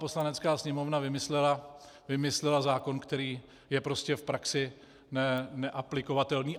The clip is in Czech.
Poslanecká sněmovna vymyslela zákon, který je prostě v praxi neaplikovatelný.